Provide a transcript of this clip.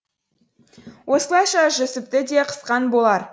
осылайша жүсіпті де қысқан болар